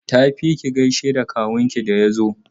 Tafi ki gaishe da kawunki da ya zo!